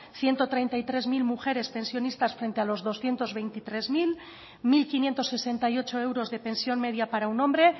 ciento treinta y tres mil mujeres pensionistas frente a los doscientos veintitrés mil mil quinientos sesenta y ocho euros de pensión media para un hombre